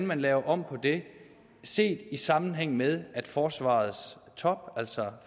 man laver om på det set i sammenhæng med at forsvarets top altså